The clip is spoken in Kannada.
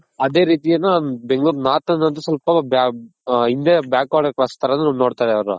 ಅದೇ ರೀತಿ ಏನು ಬೆಂಗಳೂರ್ north ಅನ್ನೋದು ಸ್ವಲ್ಪ ನೋಡ್ತಾರ್ ಅವ್ರು.